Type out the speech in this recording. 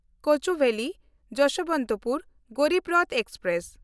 Kochuveli Jasbantpur Garib Rath express